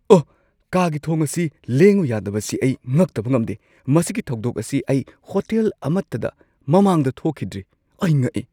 ꯑꯣꯍ, ꯀꯥꯒꯤ ꯊꯣꯡ ꯑꯁꯤ ꯂꯦꯡꯉꯨ ꯌꯥꯗꯕꯁꯤ ꯑꯩ ꯉꯛꯇꯕ ꯉꯝꯗꯦ! ꯃꯁꯤꯒꯤ ꯊꯧꯗꯣꯛ ꯑꯁꯤ ꯑꯩ ꯍꯣꯇꯦꯜ ꯑꯃꯠꯇꯗ ꯃꯃꯥꯡꯗ ꯊꯣꯛꯈꯤꯗ꯭ꯔꯤ꯫ ꯑꯩ ꯉꯛꯏ!